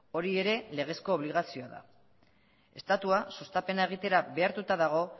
hori ere legezko obligazioa da estatua sustapena egitera behartuta dago